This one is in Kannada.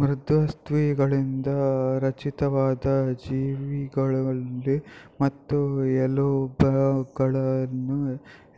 ಮೃದ್ವಸ್ಥಿಗಳಿಂದ ರಚಿತವಾದ ಜೀವಿಗಳಲ್ಲಿ ಮತ್ತು ಎಲುಬಗಳನ್ನೇ